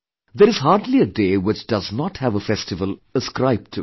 There is hardly a day which does not have a festival ascribed to it